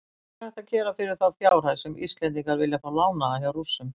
Hvað er hægt að gera fyrir þá fjárhæð sem Íslendingar vilja fá lánaða hjá Rússum?